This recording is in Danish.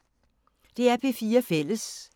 DR P4 Fælles